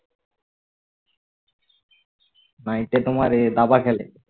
night এ তোমার এ দাবা খেলে